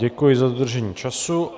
Děkuji za dodržení času.